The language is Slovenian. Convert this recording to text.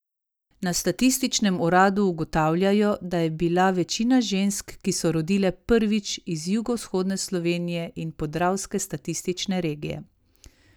Na statističnem uradu ugotavljajo, da je bila večina žensk, ki so rodile prvič, iz jugovzhodne Slovenije in podravske statistične regije.